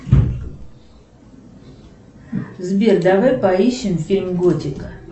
сбер давай поищем фильм готика